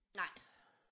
Nej